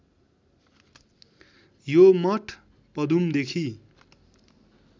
यो मठ पदुमदेखि